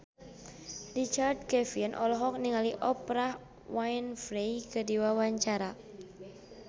Richard Kevin olohok ningali Oprah Winfrey keur diwawancara